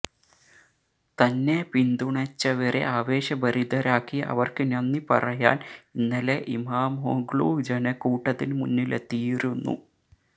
തന്നെ പിന്തുണച്ചവരെ ആവേശഭരിതരാക്കി അവർക്ക് നന്ദി പറയാൻ ഇന്നലെ ഇമാമോഗ്ലു ജനക്കൂട്ടത്തിന് മുന്നിലെത്തിയിരുന്നു